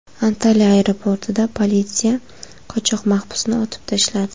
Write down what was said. Antalya aeroportida politsiya qochoq mahbusni otib tashladi.